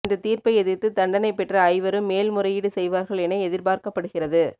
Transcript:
இந்த தீர்ப்பை எதிர்த்து தண்டனை பெற்ற ஐவரும் மேல்முறையீடு செய்வார்கள் என எதிர்பார்க்கபடுகிறது